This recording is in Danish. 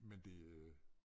Men det øh